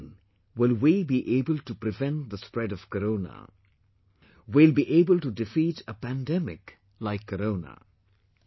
Only then will we be able to prevent the spread of corona... We will be able to defeat a pandemic like Corona